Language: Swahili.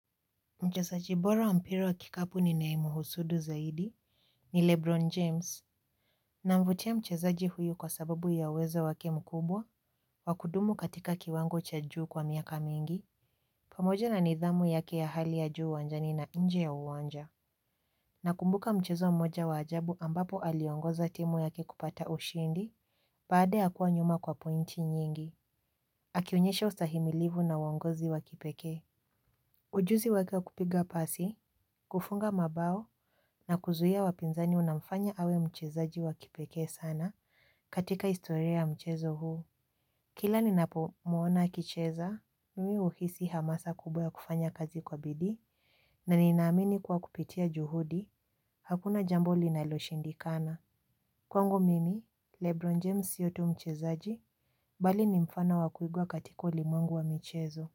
Mchezaji bora wa mpira wa kikapu ninaemuhusudu zaidi ni Lebron James. Namvutia mchezaji huyu kwa sababu ya uwezo wake mkubwa, kwa kudumu katika kiwango cha juu kwa miaka mingi. Pamoja na nidhamu yake ya hali ya juu uwanjani na nje ya uwanja. Na kumbuka mchezo mmoja wa ajabu ambapo aliongoza timu yake kupata ushindi, baada ya kuwa nyuma kwa pointi nyingi. Akionyesha ustahimilivu na uongozi wa kipekee. Ujuzi wake wa kupiga pasi, kufunga mabao na kuzuia wapinzani unafanya awe mchezaji wakipekee sana katika historia ya mchezo huu. Kila ninapomwona akicheza, mimi huhisi hamasa kubwa ya kufanya kazi kwa bidii na ninamini kwa kupitia juhudi hakuna jambo linaloshindikana. Kwangu mimi, Lebron James sio tu mchezaji, bali ni mfano wa kuigwa katika ulimwengu wa mchezo huu.